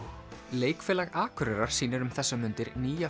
leikfélag Akureyrar sýnir um þessar mundir nýja